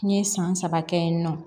N ye san saba kɛ yen nɔ